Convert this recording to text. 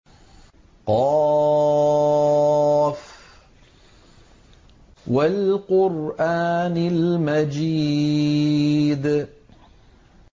ق ۚ وَالْقُرْآنِ الْمَجِيدِ